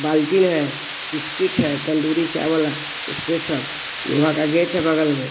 बाल्टीन है बिस्किट है तंदूरी चाय वाला स्पेशल लोहा का गेट है बगल में--